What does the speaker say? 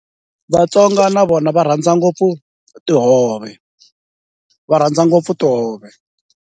Vatsonga na vona va rhandza ngopfu tihove, va rhandza ngopfu tihove.